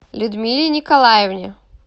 людмиле николаевне